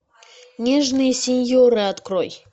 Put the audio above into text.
нежные синьоры открой